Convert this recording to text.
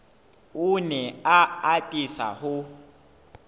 o ne a atisa ho